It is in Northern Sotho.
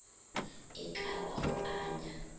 e ka ba go anya